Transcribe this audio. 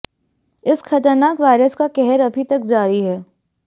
इस खतरनाक वायरस का कहर अभी तक जारी है